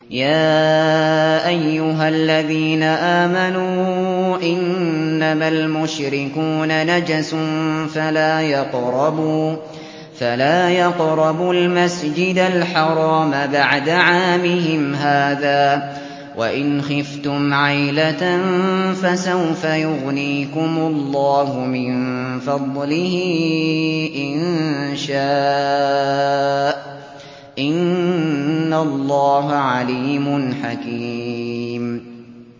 يَا أَيُّهَا الَّذِينَ آمَنُوا إِنَّمَا الْمُشْرِكُونَ نَجَسٌ فَلَا يَقْرَبُوا الْمَسْجِدَ الْحَرَامَ بَعْدَ عَامِهِمْ هَٰذَا ۚ وَإِنْ خِفْتُمْ عَيْلَةً فَسَوْفَ يُغْنِيكُمُ اللَّهُ مِن فَضْلِهِ إِن شَاءَ ۚ إِنَّ اللَّهَ عَلِيمٌ حَكِيمٌ